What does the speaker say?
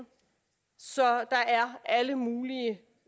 så der er al mulig